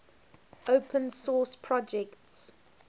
open source projects